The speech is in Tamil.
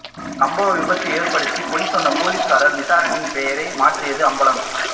சம்பவம் விபத்து ஏற்படுத்தி பொய் சொன்ன போலீஸ்காரர் விசாரணையில் பெயரை மாற்றியது அம்பலம்